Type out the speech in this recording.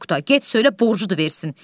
Oqtay, get söylə borcudur versin.